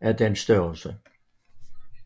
af den størrelse